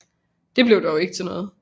Det blev dog ikke til noget